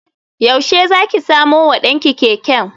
Yaushe za ki samo wa ɗan ki keken?